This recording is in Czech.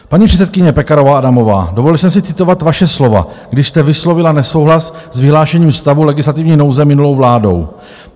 Paní předsedkyně Pekarová Adamová, dovolil jsem si citovat vaše slova, když jste vyslovila nesouhlas s vyhlášením stavu legislativní nouze minulou vládou.